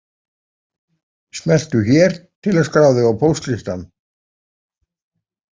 Smelltu hér til að skrá þig á póstlistann